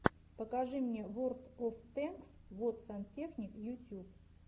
покажи мне ворлд оф тэнкс вот сантехник ютьюб